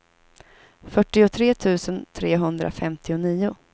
fyrtiotre tusen trehundrafemtionio